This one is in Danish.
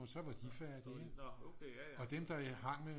Og så var de færdige ikke og dem der hang med